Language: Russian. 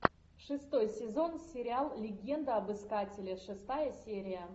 шестой сезон сериал легенда об искателе шестая серия